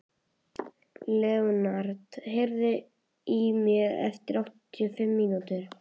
Leonhard, heyrðu í mér eftir áttatíu og fimm mínútur.